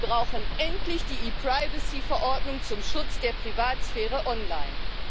Wir brauchen endlich die ePrivacy Verordnung zum Schutz der Privatsphäre online.